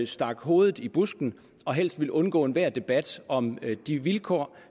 stak hovedet i busken og helst ville undgå enhver debat om de vilkår